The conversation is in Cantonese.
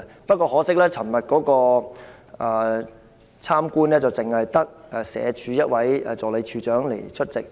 不過，可惜的是，昨天的探訪活動只有社會福利署一位助理署長出席。